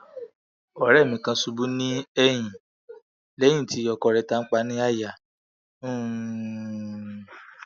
ore mi kan ṣubu ni ẹyin lẹyin ti ọkọ re tanpa ni àyà um